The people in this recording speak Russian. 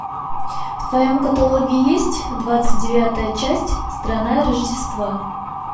в твоем каталоге есть двадцать девятая часть страна рождества